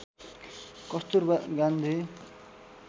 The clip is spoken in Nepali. कस्तूरबा गान्धी